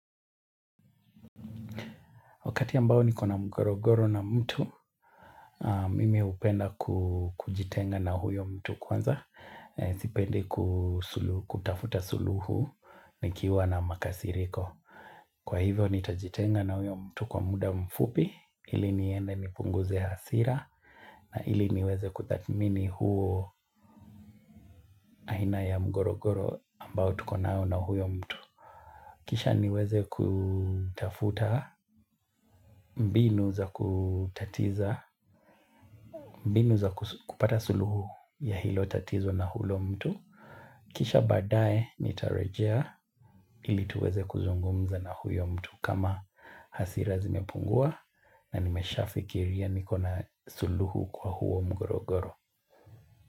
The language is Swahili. Wakati ambao nikona mgorogoro na mtu, mimi upenda kujitenga na huyo mtu kwanza, sipendi kutafuta suluhu nikiwa na makasiriko. Kwa hivyo nitajitenga na huyo mtu kwa muda mfupi, ili niende nipunguze hasira, na ili niweze kuthatmini huo aina ya mgorogoro ambao tukonao na huyo mtu. Kisha niweze kutafuta mbinu za kutatiza, mbinu za kupata suluhu ya hilo tatizo na hulo mtu. Kisha baadae ni tarejea ili tuweze kuzungumza na huyo mtu kama hasira zimepungua na nimesha fikiria niko na suluhu kwa huo mgorogoro.